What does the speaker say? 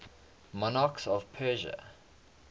monarchs of persia